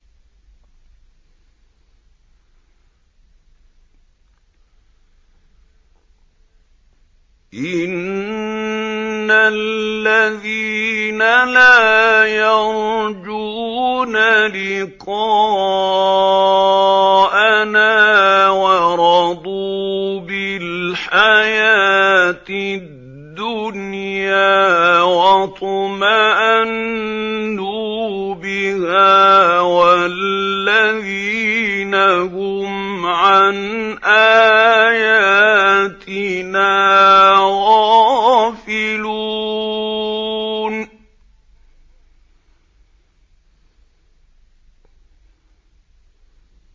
إِنَّ الَّذِينَ لَا يَرْجُونَ لِقَاءَنَا وَرَضُوا بِالْحَيَاةِ الدُّنْيَا وَاطْمَأَنُّوا بِهَا وَالَّذِينَ هُمْ عَنْ آيَاتِنَا غَافِلُونَ